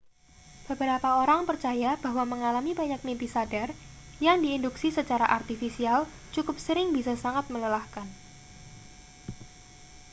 beberapa orang percaya bahwa mengalami banyak mimpi sadar yang diinduksi secara artifisial cukup sering bisa sangat melelahkan